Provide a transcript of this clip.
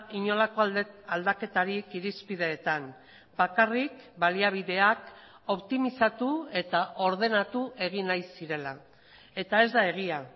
inolako aldaketarik irizpideetan bakarrik baliabideak optimizatu eta ordenatu egin nahi zirela eta ez da egia